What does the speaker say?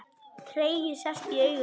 Tregi sest í augu hans.